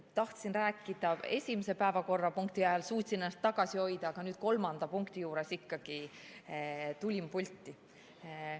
Tahtsin rääkida esimese päevakorrapunkti ajal, suutsin ennast tagasi hoida, aga nüüd kolmanda punkti juures ikkagi tulin pulti.